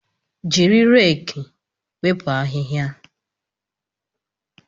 Jiri reeki wepụ ahịhịa